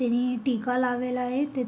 त्याने एक टीका लावलेला आहे त्याच--